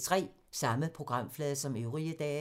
Samme programflade som øvrige dage